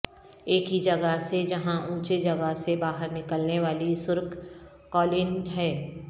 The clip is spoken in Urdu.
ایک ہی جگہ ہے جہاں اونچے جگہ سے باہر نکلنے والی سرخ قالین ہے